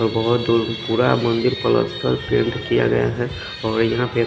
और बोहोत दूर पूरा मंदिर प्लास्तर पेंट किया गया है और यहाँ पे--